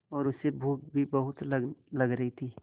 और उसे भूख भी बहुत लग रही थी